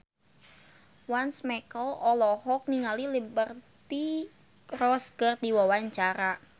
Once Mekel olohok ningali Liberty Ross keur diwawancara